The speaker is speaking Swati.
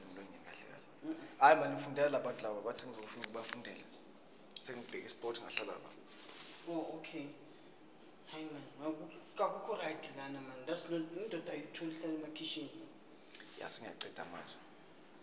emaswati oya embuleni